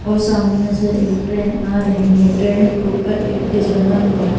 और सामने से एक ट्रेन आ रही है ट्रेन के ऊपर एक ब्रिज बना हुआ है।